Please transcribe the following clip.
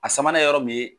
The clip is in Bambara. A sabanan ye yɔrɔ min ye